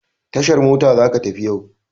Tashar mota za ka tafi yau!